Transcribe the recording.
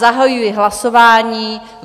Zahajuji hlasování.